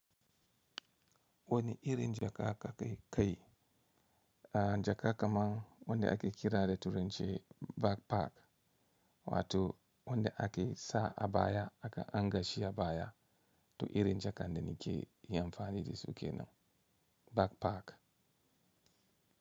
Wani irin jaka aka kai kai jaka kamar wanda ake kira da turence backpack wato wanda ake sa a baya aka anngashi a baya to irin jaka dannike ya amfani da su kenan backpack.